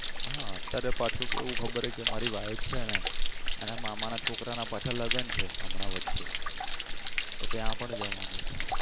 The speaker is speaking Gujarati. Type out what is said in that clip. હા અત્યારે પાછુ કેવું ખબર હે કે મારી wife છે ને એના મામા ના છોકરાના પાછા લગન છે હમણાં વચ્ચે તો ત્યાં પણ જવાની ઈચ્છા છે